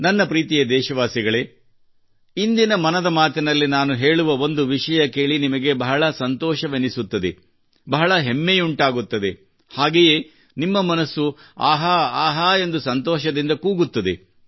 ನನ್ನ ಪ್ರೀತಿಯ ದೇಶವಾಸಿಗಳೇ ಇಂದಿನ ಮನದ ಮಾತಿನಲ್ಲಿ ನಾನು ಹೇಳುವ ಒಂದು ವಿಷಯ ಕೇಳಿ ನಿಮಗೆ ಬಹಳ ಸಂತೋಷವೆನಿಸುತ್ತದೆ ಬಹಳ ಹೆಮ್ಮೆಯುಂಟಾಗುತ್ತದೆ ಹಾಗೆಯೇ ನಿಮ್ಮ ಮನಸ್ಸು ಆಹಾ ಆಹಾ ಎಂದು ಸಂತೋಷದಿಂದ ಕೂಗುತ್ತದೆ